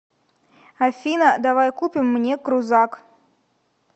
афина давай купим мне крузак